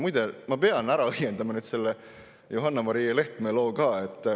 Muide, ma pean ära õiendama nüüd selle Johanna-Maria Lehtme loo ka.